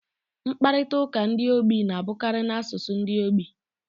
Mkparịta ụka ndi ogbi na-abụkarị n'asụsụ ogbi.